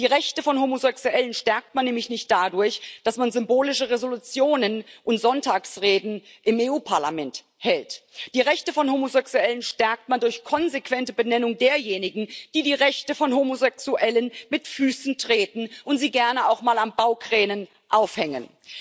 Die Rechte von Homosexuellen stärkt man nämlich nicht dadurch, dass man symbolische Entschließungen und Sonntagsreden im Europäischen Parlament hält, die Rechte von Homosexuellen stärkt man durch konsequente Benennung derjenigen, die die Rechte von Homosexuellen mit Füßen treten und sie gerne auch mal an Baukränen aufhängen.